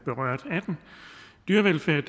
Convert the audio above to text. berørt af den dyrevelfærd er